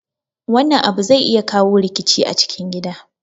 Wannan abu zai iya kawo rikici a cikin gida